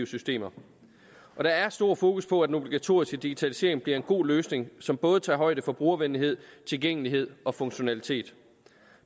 systemer der er stor fokus på at den obligatoriske digitalisering bliver en god løsning som både tager højde for brugervenligheden tilgængeligheden og funktionaliteten